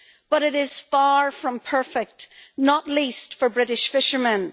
But it is far from perfect, not least for British fishermen.